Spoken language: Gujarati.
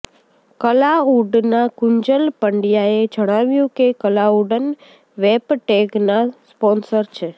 કલાઉડના કુંજલ પંડયાએ જણાવ્યું કે કલાઉડ વેપટેગના સ્પોનસર છે